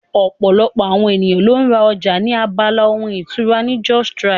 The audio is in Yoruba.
Ọ̀pọ̀lọpọ̀ àwọn ènìyàn ló ń ra ọjà ní abala ohun ìkunra ní justrite